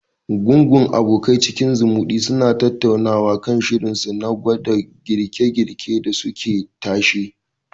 Gungun abokai cikin zumuɗi suna tattaunawa kan shirinsu na gwada girke-girke dasu ke tashe.